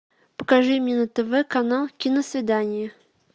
покажи мне на тв канал киносвидание